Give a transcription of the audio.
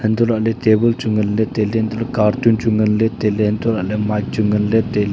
untoh lahley table chu nganley tailey untoley cartoon chu ngan tailey unntoley mic chu ngan tailey.